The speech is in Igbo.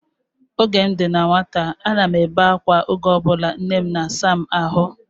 Oge m dị na nwata, a na m ebe akwa oge ọbụla nne m na-asa m ahụ